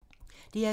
DR2